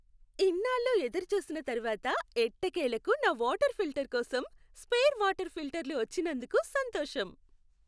ఇన్నాళ్ళు ఎదురుచూసిన తర్వాత ఎట్టకేలకు నా వాటర్ ఫిల్టర్ కోసం, స్పేర్ వాటర్ ఫిల్టర్లు వచ్చినందుకు సంతోషం.